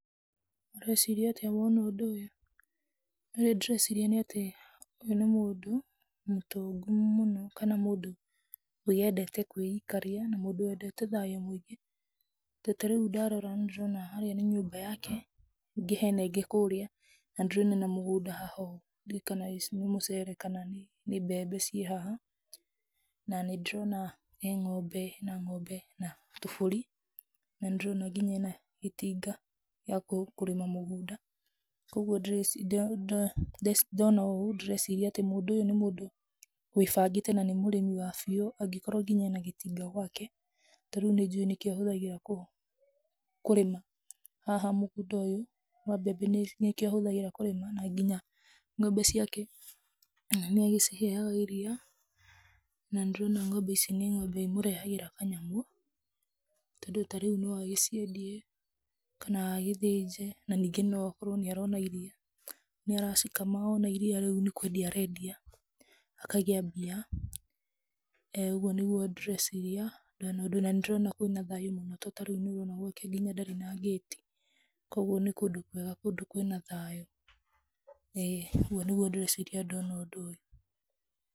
Ũreciria atĩa woona ũndũ ũyũ? Ũrĩa ndĩreciria nĩ atĩ ũyũ nĩ mũndũ mũtongu mũno kana mũndũ wendete kwĩikaria kana mũndũ wendete thayũ mũingĩ, ta rĩu ndarora ndĩrona harĩa nĩ nyũmba yake ningĩ hena ĩngĩ kũrĩa, na yatũranĩtio nĩ mũgũnda ndiũ kana nĩ mũcere kana mbembe ciĩ haha, na nĩ ndĩrona ena ng'ombe, ena tũbũri na nginya ena gĩtinga gĩa kũrĩma mũgũnda, kwoguo ndona ũũ ndĩreciria ũyũ nĩ mũndũ wĩ bangĩte na nĩ mũrĩmi wa biũ angĩkorwo ena gĩtinga gwake, tondũ nĩ njũĩ nĩkĩo ahũthagĩra kũrĩma haha mũgũnda ũyũ wa mbembe na nginya ng'ombe nĩ agiciheaga irio na nĩ ndĩrona ici nĩ ng'ombe imũrehagĩra kanyamũ, tondũ ta rĩu no agĩciendie kana agĩthĩnje na ningĩ no akorwo nĩ arona iria iria, acikama iria rĩu nĩ kwendia arendia, akagĩa mbia, ũguo nĩguo ndĩreciria na nĩ ndĩrona kwĩna tariu gũkũ gwake nĩ ndĩrona ndarĩ na gate kwoguo nĩ kũndũ kwega kũndũ kwĩna thayũ.